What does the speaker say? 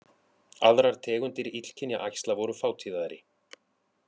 Aðrar tegundir illkynja æxla voru fátíðari